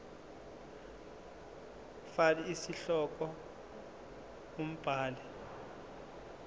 fal isihloko umbhali